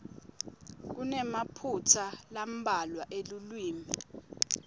kunemaphutsa lambalwa elulwimi